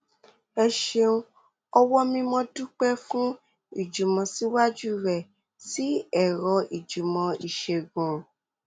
o ṣeun ọwọ mimo dúpẹ fún ìjùmọsíwájú rẹ sí ẹrọ ìjùmọ ìṣègùn